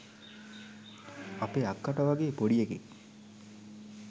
අපේ අක්කට වගේ පොඩි එකෙක්?